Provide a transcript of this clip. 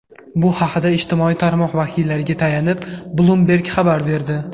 Bu haqda ijtimoiy tarmoq vakiliga tayanib, Bloomberg xabar berdi .